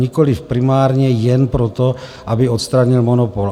Nikoliv primárně jen proto, aby odstranil monopol.